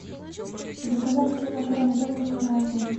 заказать килограмм яблок на озон